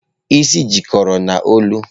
Isi jikọrọ n'olu.